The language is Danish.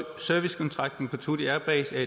servicekontrakten på thule air base er